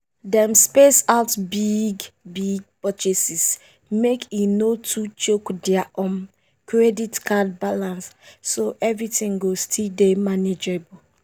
dem space out big-big purchases make e no too choke their um credit card balance—so everything go still dey manageable.